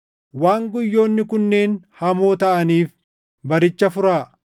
waan guyyoonni kunneen hamoo taʼaniif baricha furaa.